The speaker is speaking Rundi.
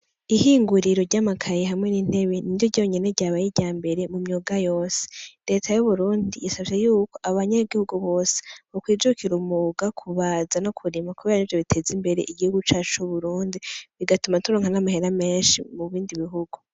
Ihinguriro ryamakaye hamwe nintebe niryo ryonyene ryabaye iryambere mumyuga yose ,reta yuburundi isavye yuko abanyagihugu bose bokwicukira umwuga wokubaza no kurima kubera arivyo biteza Imbere igihugu cacu cu Burundi, bigatuma turonka amahera menshi mu bindi bihugu.